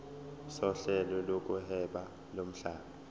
sohlelo lokuhweba lomhlaba